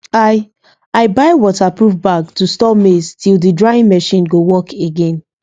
i i buy waterproof bag to store maize till the drying machine go work again